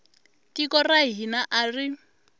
tiko ra hina a ri